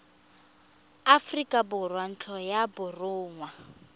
aforika borwa ntlo ya borongwa